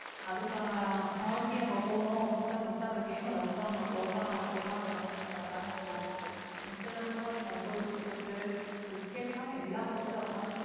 அதுக்கான hockey நம்ம போகணும் அப்படின்னுதான் first அந்த game அ love பண்ணணும் love பண்ணா மட்டும்தான் அதை வந்து நம்ம விளையாட முடியும் மிச்சத்தை கூட அதை நான் ரொம்ப விருப்பப்பட்டு cricket எல்லாம் எல்லா பக்கமும் பாருங்க